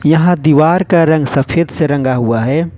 यह दीवार का रंग सफेद से रंगा हुआ है।